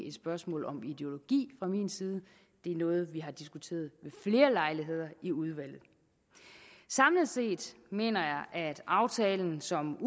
et spørgsmål om ideologi fra min side det er noget vi har diskuteret ved flere lejligheder i udvalget samlet set mener jeg at aftalen som